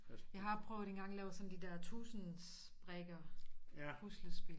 Jeg har prøvet engang at lave sådan de der tusinds brikker puslespil